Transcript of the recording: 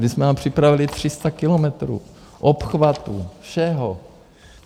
My jsme vám připravili 300 kilometrů obchvatů, všeho.